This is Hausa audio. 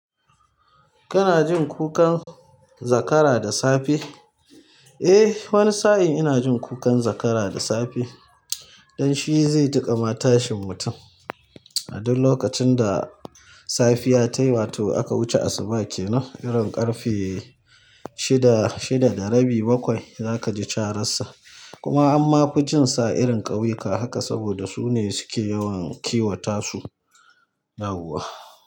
Kana jin kukan zakara da safe. Eh wani sa'in ina jin kukan zakara da safe, don shi zai dinga ma tashin mutum. A duk lokacin da safiya tayi wato a kauce asuba kenan irin ƙarfe shida shida da rabi za ka ji cararsa kuma an mafi jin sa irin ƙauyuka haka saboda su ne suke yawan kiwata su, yawwa.